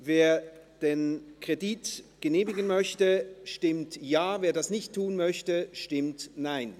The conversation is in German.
Wer den Kredit genehmigen möchte, stimmt Ja, wer ihn ablehnt, stimmt Nein.